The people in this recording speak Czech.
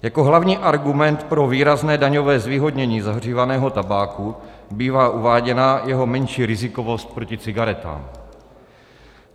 Jako hlavní argument pro výrazné daňové zvýhodnění zahřívaného tabáku bývá uváděná jeho menší rizikovost proti cigaretám.